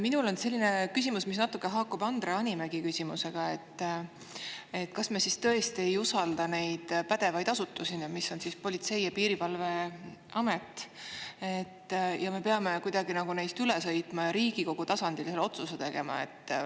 Minul on selline küsimus, mis natuke haakub Andre Hanimägi küsimusega, et kas me siis tõesti ei usalda neid pädevaid asutusi, nagu Politsei‑ ja Piirivalveamet, ja me peame kuidagi nagu neist üle sõitma ja Riigikogu tasandil selle otsuse tegema.